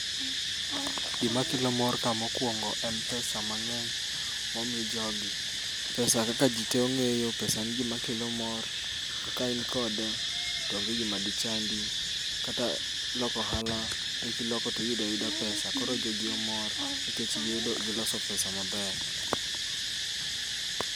Gima kelo mor ka mokwongo en pesa mang'eny mo mi jogi. Pesa kaka ji te ong'eyo, pesa en gima kelo mor. To ka in kode, onge gima de chandi. Kata loko ohala be kiloko tiyuda yuda pesa, koro jogi omor nikech giyudo giloko pesa maber.